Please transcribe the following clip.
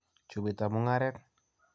chobeetap mung'aaret